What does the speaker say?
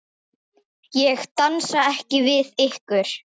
Ég dansa ekki við ykkur.